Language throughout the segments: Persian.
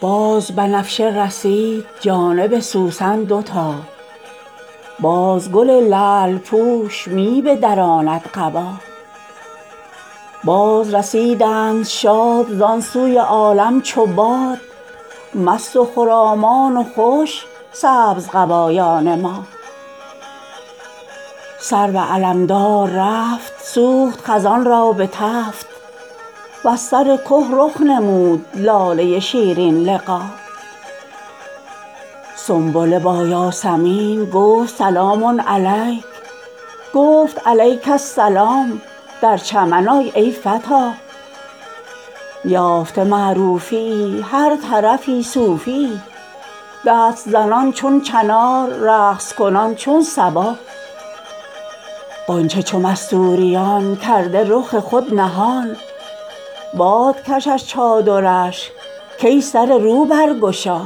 باز بنفشه رسید جانب سوسن دوتا باز گل لعل پوش می بدراند قبا بازرسیدند شاد زان سوی عالم چو باد مست و خرامان و خوش سبزقبایان ما سرو علمدار رفت سوخت خزان را به تفت وز سر که رخ نمود لاله شیرین لقا سنبله با یاسمین گفت سلام علیک گفت علیک السلام در چمن آ ای فتا یافته معروفیی هر طرفی صوفیی دست زنان چون چنار رقص کنان چون صبا غنچه چو مستوریان کرده رخ خود نهان باد کشد چادرش کای سره رو برگشا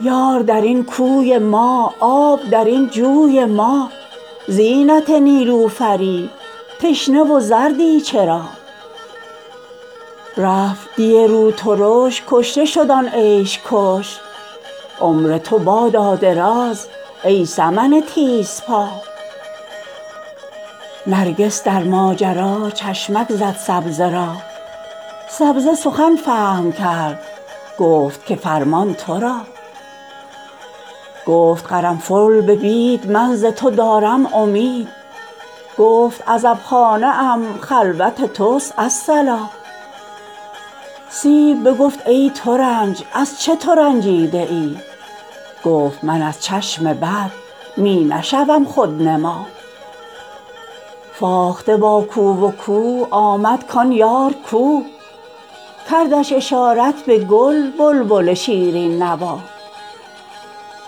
یار در این کوی ما آب در این جوی ما زینت نیلوفری تشنه و زردی چرا رفت دی روترش کشته شد آن عیش کش عمر تو بادا دراز ای سمن تیزپا نرگس در ماجرا چشمک زد سبزه را سبزه سخن فهم کرد گفت که فرمان تو را گفت قرنفل به بید من ز تو دارم امید گفت عزبخانه ام خلوت توست الصلا سیب بگفت ای ترنج از چه تو رنجیده ای گفت من از چشم بد می نشوم خودنما فاخته با کو و کو آمد کان یار کو کردش اشارت به گل بلبل شیرین نوا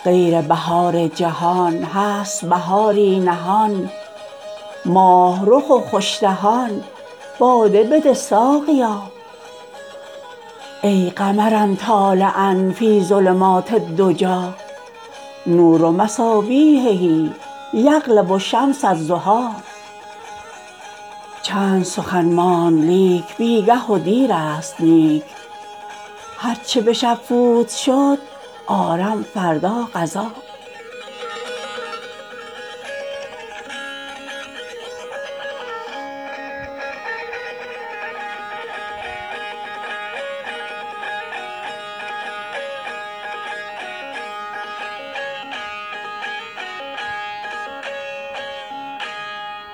غیر بهار جهان هست بهاری نهان ماه رخ و خوش دهان باده بده ساقیا یا قمرا طالعا فی الظلمات الدجی نور مصابیحه یغلب شمس الضحی چند سخن ماند لیک بی گه و دیرست نیک هر چه به شب فوت شد آرم فردا قضا